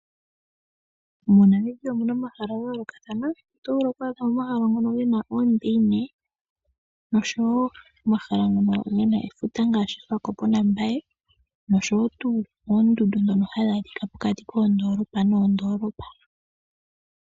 moNamibia omuna omahala gayoolokathana. Oto vulu gena oondundu noshowoo omahala ngono gokefuta geli koSwakopmumd naMbaye noshowoo tuu oondundu shono hadhi adhika pokati koondolopa noondolopa.